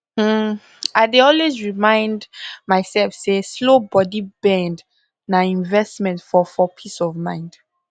i dey always remind um myself say slow body bend um na um investment for for peace of mind